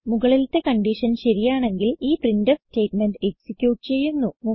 മുകളിലത്തെ കൺഡിഷൻ ശരിയാണെങ്കിൽ ഈ പ്രിന്റ്ഫ് സ്റ്റേറ്റ്മെന്റ് എക്സിക്യൂട്ട് ചെയ്യുന്നു